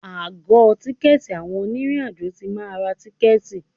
Àgọ tìkẹ̀tí àwọn onírin àjò tí máa ń ra tìkẹ̀tí.